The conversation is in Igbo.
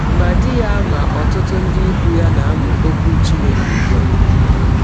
Ma di ya ma ọtụtụ ndị ikwụ ya na - amụ Ọkwụ Chineke ụgbụ a.